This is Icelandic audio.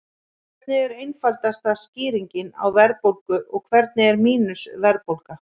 Hvernig er einfaldasta skýringin á verðbólgu og hvernig er mínus-verðbólga?